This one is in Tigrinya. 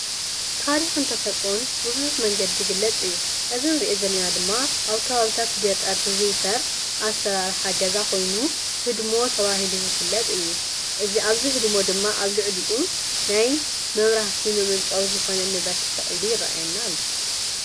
ታሪክን ተፈጥሮን ብቡዙሕ መንገዲ ይግለፅ እዩ፡፡ እዚ እንሪኦ ዘለና ድማ አብ ከባቢታት ገጠር ዝዝውተር አሰራርሓ ገዛ ኮይኑህድሞ ተባሂሉ ዝፍለጥ እዩ፡፡ አብዚ ህድሞ ድማ አብ ልዕሊኡ ናይ መብራህቲ መመንጨዊ ዝኾነ ንብረት ተሰቂሉ ይርአየና አሎ፡፡